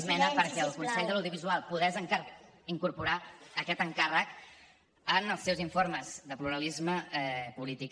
esmena perquè el consell de l’audiovisual pogués incorporar aquest encàrrec en els seus informes de pluralisme polític